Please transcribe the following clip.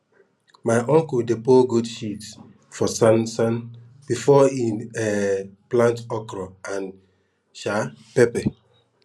my uncle dey pour goat shit for sansan before e um plant okra and um pepper